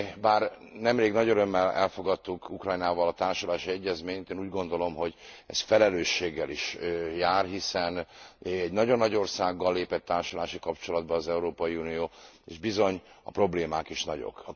Bár nemrég nagy örömmel elfogadtuk Ukrajnával a társulási egyezményt, én úgy gondolom, hogy ez felelősséggel is jár, hiszen egy nagyon nagy országgal lépett társulási kapcsolatba az Európai Unió és bizony a problémák is nagyok.